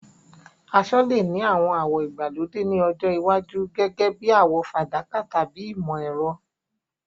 Aṣọ lè ní àwọn àwọ̀ ìgbàlódé ní ọjọ́ iwájú, gẹ́gẹ́ bí àwọ̀ fàdákà tàbí ìmọ̀-ẹ̀rọ.